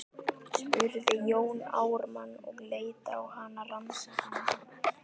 spurði Jón Ármann og leit á hana rannsakandi.